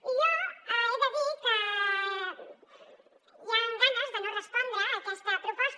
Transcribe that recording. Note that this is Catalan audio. i jo he de dir que hi han ganes de no respondre a aquesta proposta